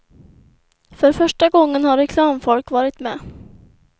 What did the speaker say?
För första gången har reklamfolk varit med.